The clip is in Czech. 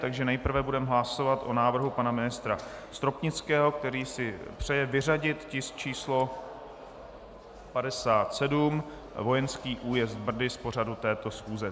Takže nejprve budeme hlasovat o návrhu pana ministra Stropnického, který si přeje vyřadit tisk číslo 57, vojenský újezd Brdy, z pořadu této schůze.